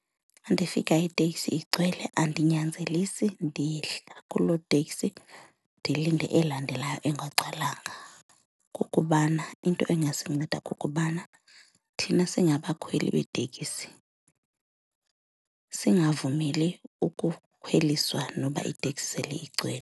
Xa ndifika iteksi igcwele andinyanzelisi ndiyehla kuloo teksi ndilinde elandelayo engagcwalanga ngokubana into ingasinceda kukubana thina singabakhweli beetekisi singavumeli ukukhweliswa noba iteksi sele igcwele.